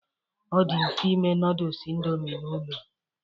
Ọ dị mfe ime noodles Indomi n'ụlọ